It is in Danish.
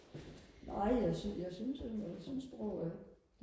nej jeg jeg synes nu jeg synes sprog er